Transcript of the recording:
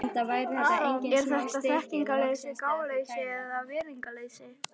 Er þetta þekkingarleysi, gáleysi eða virðingarleysi?